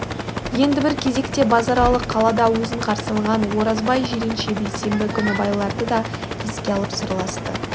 енді бір кезекте базаралы қалада өзін қарсы алған оразбай жиренше бейсенбі күні байларды да еске алып сырласты